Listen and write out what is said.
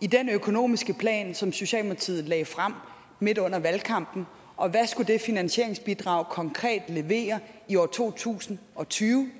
i den økonomiske plan som socialdemokratiet lagde frem midt under valgkampen og hvad skulle det finansieringsbidrag konkret levere i år to tusind og tyve